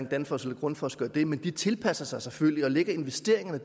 danfoss eller grundfos gør det men de tilpasser sig selvfølgelig og lægger investeringerne og